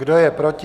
Kdo je proti?